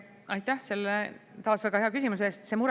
Aitäh selle taas väga hea küsimuse eest!